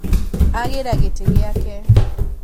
Agĩra gĩtĩ gĩake